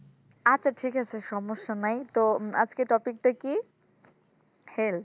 আচ্ছা ঠিক আছে সমস্যা নাই তো আজকে topic টা কি health